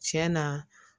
Tiɲɛ na